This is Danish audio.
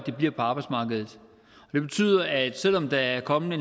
at de bliver på arbejdsmarkedet så selv om der er kommet